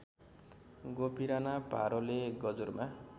गोपीराना भारोले गजुरमा